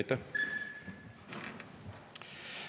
Aitäh!